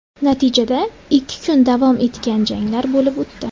Natijada, ikki kun davom etgan janglar bo‘lib o‘tdi.